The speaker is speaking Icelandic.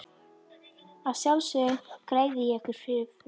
Að sjálfsögðu greiði ég ykkur fyrir fram.